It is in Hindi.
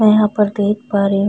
मैं यहाँ पर देख पा रही हूं।